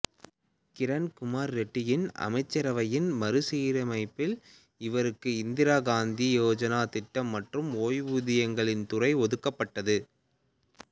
கிரண் குமார் ரெட்டியின் அமைச்சரவையின் மறுசீரமைப்பில் இவருக்கு இந்திரா காந்தி யோஜனா திட்டம் மற்றும் ஓய்வூதியங்களின் துறை ஒதுக்கப்பட்டது